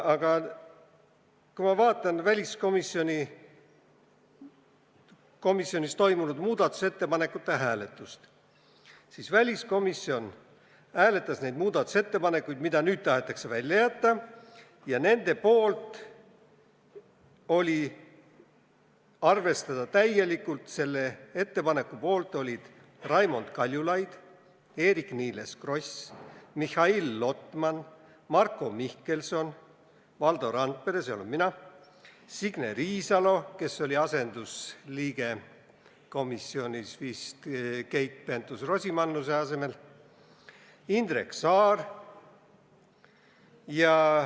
Aga ma vaatan praegu väliskomisjonis toimunud muudatusettepanekute hääletust – väliskomisjon hääletas neid muudatusettepanekuid, mis nüüd tahetakse välja jätta –, ja näen, et "arvestada täielikult" ettepaneku poolt olid Raimond Kaljulaid, Eerik-Niiles Kross, Mihhail Lotman, Marko Mihkelson, Valdo Randpere, Signe Riisalo, kes oli komisjonis asendusliige vist Keit Pentus-Rosimannuse asemel, ja Indrek Saar.